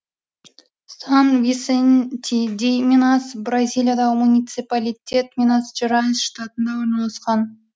сан висенти ди минас бразилиядағы муниципалитет минас жерайс штатында орналасқан